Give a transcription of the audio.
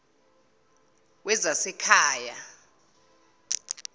wezasekhaya